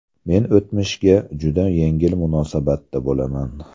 Men o‘tmishga juda yengil munosabatda bo‘laman.